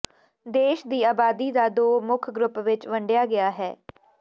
ਦੇਸ਼ ਦੀ ਆਬਾਦੀ ਦਾ ਦੋ ਮੁੱਖ ਗਰੁੱਪ ਵਿੱਚ ਵੰਡਿਆ ਗਿਆ ਹੈ